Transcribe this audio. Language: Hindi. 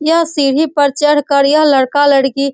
यह सीढ़ी पर चढ़ कर यह लड़का-लड़की --